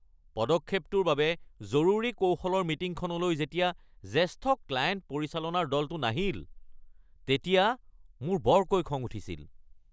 পদক্ষেপটোৰ বাবে জৰুৰী কৌশলৰ মিটিংখনলৈ যেতিয়া জেষ্ঠ ক্লায়েণ্ট পৰিচালনাৰ দলটো নাহিল তেতিয়া মোৰ বৰকৈ খং উঠিছিল।